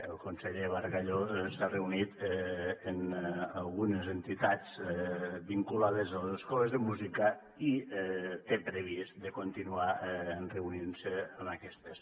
el conseller bargalló s’ha reunit amb algunes entitats vinculades a les escoles de música i té previst de continuar reunint se amb aquestes